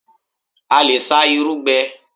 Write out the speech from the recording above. A lè sá irú gbẹ l